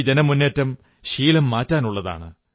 ഈ ജനമുന്നേറ്റം ശീലം മാറ്റാനുള്ളതാണ്